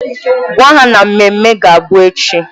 Gwa ha na ememme ga-abụ echi!